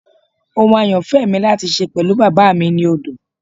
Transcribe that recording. Ohun ayanfẹ mi lati ṣe pẹlu baba mi ni odo